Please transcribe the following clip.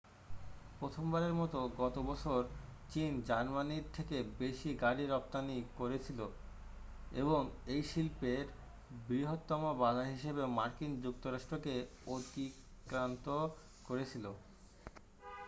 প্রথমবারের মতো গতবছর চীন জার্মানীর থেকে বেশি গাড়ি রপ্তানি করেছিল এবং এই শিল্পের বৃহত্তম বাজার হিসেবে মার্কিন যুক্তরাষ্ট্র কে অতিক্রান্ত করেছিল